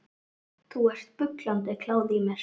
Það er bullandi kláði í mér.